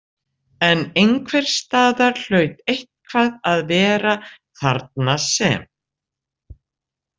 En einhvers staðar hlaut eitthvað að vera þarna sem.